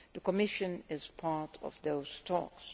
The Commission is part of those talks.